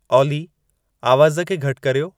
ऑली आवाज़ खे घटि कर्यो